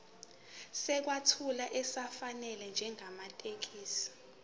sokwethula esifanele njengamathekisthi